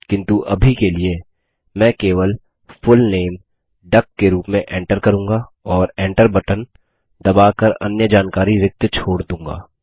किन्तु अभी के लिए मैं केवल फुल नामे डक के रूप में enter करूँगा और enter बटन दबा कर अन्य जानकारी रिक्त छोड़ दूँगा